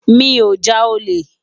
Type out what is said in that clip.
Mi ó já ólé